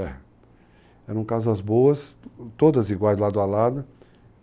Eram casas boas, todas iguais lado a lado.